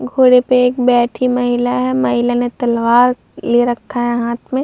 घोड़े पे एक बैठी महिला है महिला ने तलवार ले रखा है हाथ में।